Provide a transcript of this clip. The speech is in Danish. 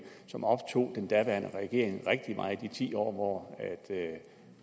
som optog den daværende regering rigtig meget de ti år hvor